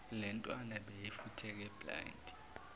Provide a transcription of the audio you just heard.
lentwana beyifutheke blind